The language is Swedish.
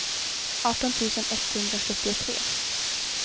arton tusen etthundrasjuttiotre